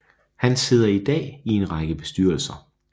Han sidder i dag i en række bestyrelser